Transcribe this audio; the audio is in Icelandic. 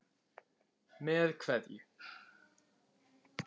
Með kveðju.